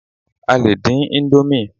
a lè dín Indomie